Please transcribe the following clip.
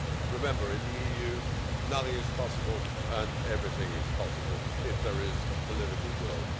Remember that, in the EU, nothing is possible and everything is possible if there is political will.